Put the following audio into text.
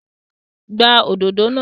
Gbá òdodo náà!